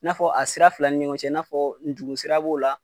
N'a fɔ a sira fila ni ɲɔgɔn cɛ, n'a fɔ ndugu sira b'o la,